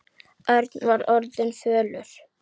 Örn var orðinn fölur.